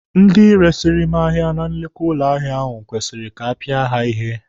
Ndị resiri m ahịa na nnukwu ụlọ ahịa ahụ kwesịrị ka apịa ha ihe.